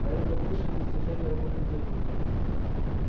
а это высшее достижение роботехники